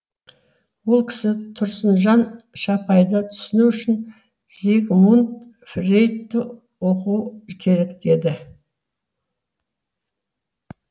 сол кісі тұрсынжан шапайды түсіну үшін зигмунд фрейдті оқу керек деді